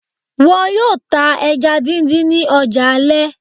Wọn yóò tá ẹja díndín ní ọjà alẹ́